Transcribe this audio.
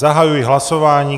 Zahajuji hlasování.